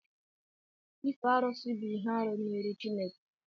ịfe arụsị bụ ihe-árụ n'iru Chineke